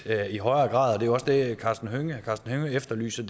i højere grad det var også det herre karsten hønge efterlyste